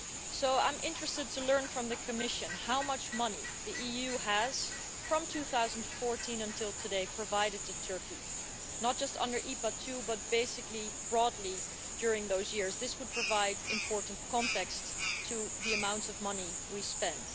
So I am interested to learn from the Commission how much money the EU has, from 2014 until today, provided to Turkey, not just under IPA II, but basically broadly during those years. This would provide important context to the amount of money we spent.